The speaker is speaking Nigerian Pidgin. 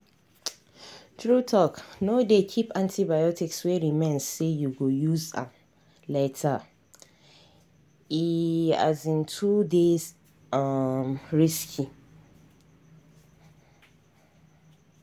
true talkno dey keep antibiotics wey remain say you go use am latere um too dey um risky